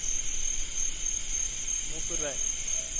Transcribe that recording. motorvei